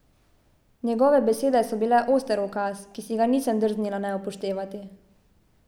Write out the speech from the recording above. Njegove besede so bile oster ukaz, ki si ga nisem drznila ne upoštevati.